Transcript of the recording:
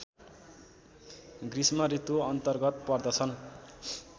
गृष्मऋतु अन्तर्गत पर्दछन्